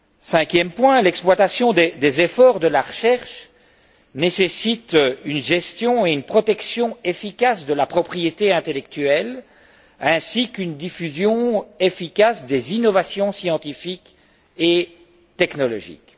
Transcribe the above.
Cinquième point, l'exploitation des efforts de la recherche nécessite une gestion et une protection efficaces de la propriété intellectuelle ainsi qu'une diffusion efficace des innovations scientifiques et technologiques.